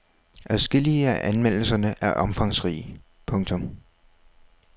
Adskillige af anmeldelserne er omfangsrige. punktum